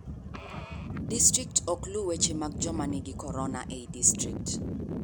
Distrikt ok lu weche mag joma nigig korona ei district.